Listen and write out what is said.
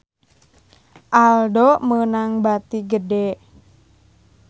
Aldo meunang bati gede